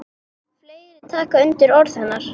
Fleiri taka undir orð hennar.